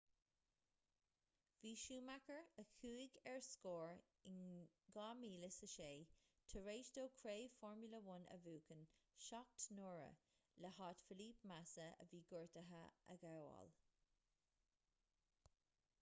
bhí schumacher a chuaigh ar scor in 2006 tar éis dó craobh formula 1 a bhuachan seacht n-uaire le háit felipe massa a bhí gortaithe a ghabháil